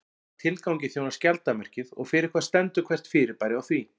Hvaða tilgangi þjónar skjaldarmerkið og fyrir hvað stendur hvert fyrirbæri á því?